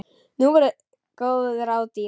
Nú voru góð ráð dýr!